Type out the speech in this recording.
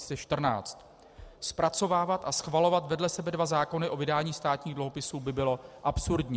Zpracovávat a schvalovat vedle sebe dva zákony o vydání státních dluhopisů by bylo absurdní.